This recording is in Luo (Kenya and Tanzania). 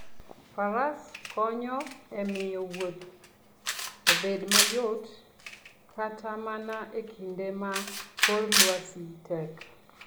Faras konyo e miyo wuoth obed mayot kata mana e kinde ma kor lwasi tek.